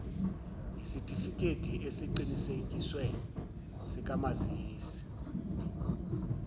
yesitifikedi esiqinisekisiwe sikamazisi